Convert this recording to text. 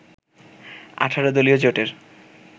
১৮ দলীয় জোটের